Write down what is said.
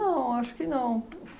acho que não.